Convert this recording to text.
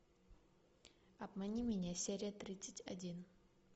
обмани меня серия тридцать один